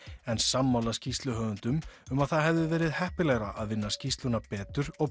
en sammála skýrsluhöfundum um að það hefði verið heppilegra að vinna skýrsluna betur og